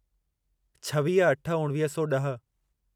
छवीह अठ उणिवीह सौ ॾह